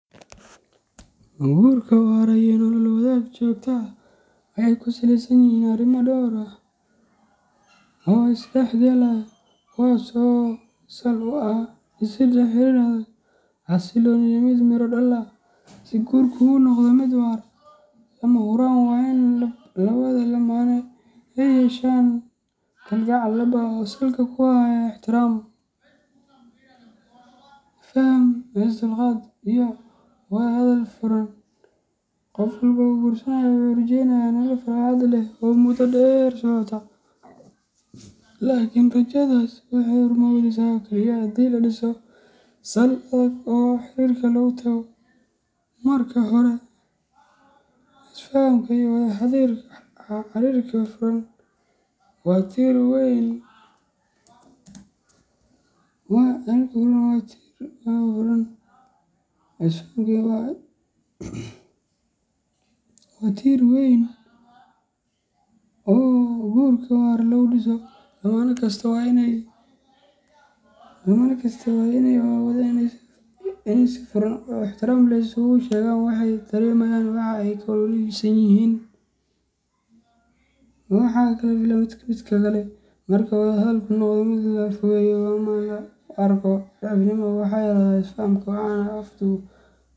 Guurka waara iyo nolol wadaag joogto ah waxay ku saleysan yihiin arrimo dhowr ah oo is dhexgalaya, kuwaas oo sal u ah dhisidda xiriir adag, xasilloon, iyo mid miro dhal ah. Si guurku u noqdo mid waara, lama huraan waa in labada lamaane ay yeeshaan kalgacal dhab ah oo salka ku haya ixtiraam, faham, is dulqaad, iyo wada hadal furan. Qof walba oo guursanaya wuxuu rajaynayaa nolol farxad leh oo muddo dheer socota, laakiin rajadaas waxay rumowdaa oo keliya haddii la dhiso sal adag oo xiriirka lagu taago. Marka hore, is fahamka iyo wada xiriirka furan waa tiir weyn oo guurka waara lagu dhiso. Lamaane kastaa waa inay awoodaan inay si furan oo ixtiraam leh isugu sheegaan waxa ay dareemayaan, waxa ay ka welwelsan yihiin, iyo waxa ay ka filayaan midba midka kale. Marka wada hadalku noqdo mid la iska fogeeyo ama loo arko daciifnimo, waxaa yaraada isfahamka waxaana fududaan .